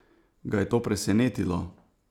Ga je to presenetilo?